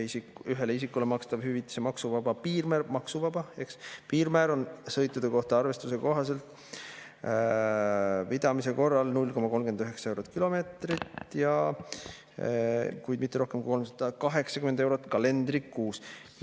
Ühele isikule makstava hüvitise maksuvaba piirmäär – maksuvaba, eks – on sõitude kohta arvestuse pidamise korral 0,39 eurot kilomeetri eest, kuid mitte rohkem kui 380 eurot kalendrikuus.